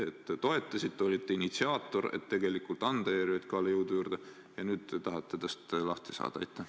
Te toetasite, olite initsiaator, et anda ERJK-le jõudu juurde, aga nüüd te tahate tast lahti saada.